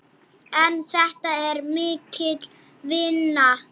En þetta er mikil vinna.